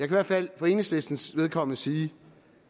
i hvert fald for enhedslistens vedkommende sige